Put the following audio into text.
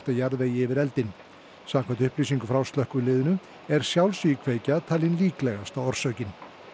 jarðvegi yfir eldinn samkvæmt upplýsingum frá slökkviliðinu er talin líklegasta orsökin